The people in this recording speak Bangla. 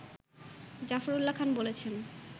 জাফরউল্লাহ খান বলেছেন